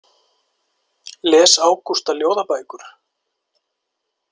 Les Ágústa ljóðabækur?